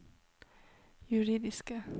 juridiske